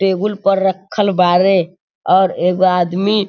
table पर रखल बारे और एगो आदमी --